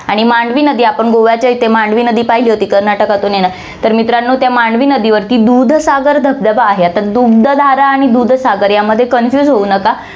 आणि मांडवी नदी, आपण गोव्याच्या इथे मांडवी नदी पाहिली होती, कर्नाटकातून येणारी, तर मित्रांनो, त्या मांडवी नदीवरती दूधसागर धबधबा आहे. आता दुग्धधारा आणि दूधसागर यामध्ये confuse होऊ नका.